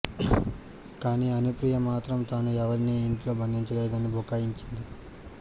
కానీ అనుప్రియ మాత్రం తానూ ఎవరినీ ఇంట్లో బందించలేదని బుకాయించింది